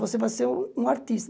Você vai ser um um artista.